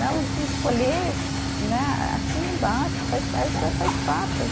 Não, o que escolher né, a assina embaixo, faz isso faz parte.